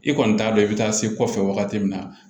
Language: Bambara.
I kɔni t'a dɔn i bɛ taa se kɔfɛ wagati min na